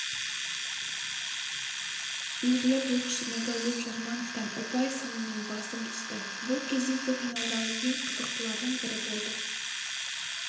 белгілі боксшы нұрдәулет жармановтан ұпай санымен басым түсті бұл кездесу финалдағы ең қызықтылардың бірі болды